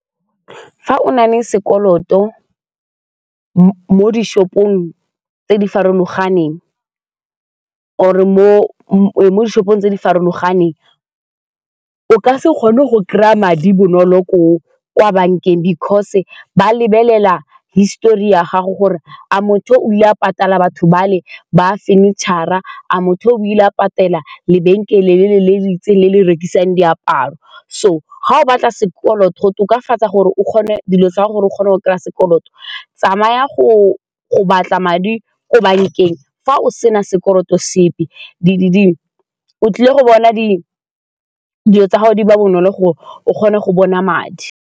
Fa o na le sekoloto mo di-shop-ong tse di farologaneng or-re mo di-shop-ong tse di farologaneng, o ka se kgone go kry-a madi bonolo ko kwa bankeng because ba lebelela histori ya gago gore a motho o dula patala batho bale ba furniture-ra, a motho o ile patela lebenkele lele le le itseng le le rekisang diaparo so ga o batla sekoloto go tokafatsa gore dilo tsa gago gore o kgone go kry-a sekoloto, tsamaya go batla madi ko bankeng fa o sena sekoloto sepe o tlile go bona dilo tsa gago di ba bonolo gore o kgone go bona madi.